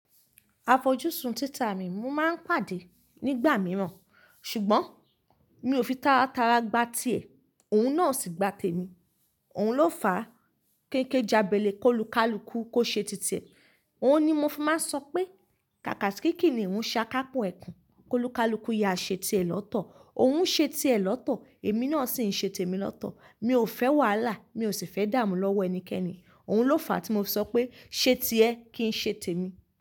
A fojú sun títà mi, mo máa ń pàdé nígbà mìíràn ṣùgbọ́n mi ò fi tara tara gba ti ẹ̀, òun náà ò sì gba tèmi. Òun ló fàá kéké jabele, kólu kálukú, kó ṣe tì tiẹ̀. Òun ni mo fi máa ń sọ pé kàkà kíí kiniu ṣá ká pọ́ ẹ̀kún. Kólu kálukú, ya ṣe ti ẹ̀ lọ́tọ̀, òun ṣe ti ẹ̀ lọ́tọ̀, èmi náà sì ń ṣe tèmi lọ́tọ̀. Mi ò fẹ́ wàhálà, mi ò sì fẹ́ dààmú lọ́wọ́ ẹnikẹ́ni. Òun ló fàá tí mo fi ṣọ pé ṣe ti ẹ kí n ṣe tèmi.